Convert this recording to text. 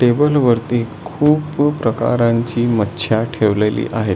Table वरती खूप खूप प्रकरांची मचिया ठेवलेली आहेत.